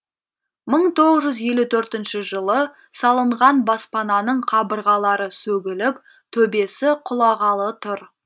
мың тоғыз жүз елу төртінші жылы салынған баспананың қабырғалары сөгіліп төбесі құлағалы тұр